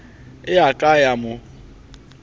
e a ka ya mo